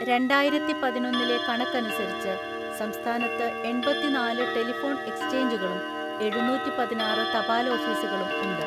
രണ്ടായിരത്തിപതിനൊന്നിലെ കണക്കനുസരിച്ച്, സംസ്ഥാനത്ത് എണ്‍പതിനാല് ടെലിഫോൺ എക്സ്ചേഞ്ചുകളും എഴുനൂറ്റിപതിനാറു തപാൽഓഫീസുകളും ഉണ്ട്.